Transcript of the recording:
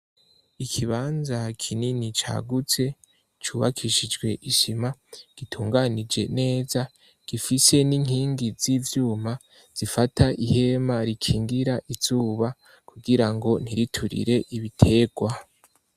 Ikibanza kinini cagutse, cubakishijwe isima. Gitunganije neza, gifise n'inkingi z'ivyuma zifata ihema rikingira izuba kugira ngo ntiriturire ibitegwa.